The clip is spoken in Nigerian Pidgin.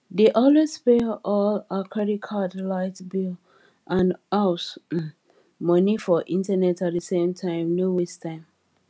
dey always pay all her credit card light bill and house um money for internet at the same time no waste time